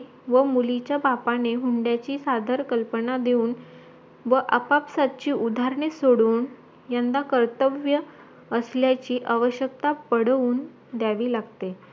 व मुलीच्या बापाने हुंड्याची सदर कल्पना देऊन व आपापसादची उदाहरणे सोडून यंदा कर्तव्य असल्याची आवशक्यता पटवून द्यावी लागते